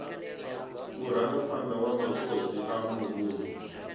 murangaphanḓa wa matswotswi a muvhundu